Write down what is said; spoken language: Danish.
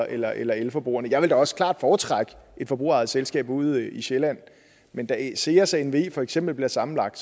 eller eller elforbrugerne jeg vil da også klart foretrække et forbrugerejet selskab ude i sjælland men da seas nve for eksempel bliver sammenlagt